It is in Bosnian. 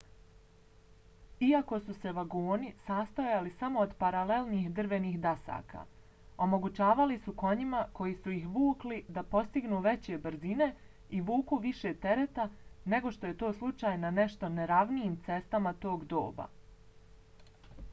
iako su se vagoni sastojali samo od paralelnih drvenih dasaka omogućavali su konjima koji su ih vukli da postignu veće brzine i vuku više tereta nego što je to slučaj na nešto neravnijim cestama tog doba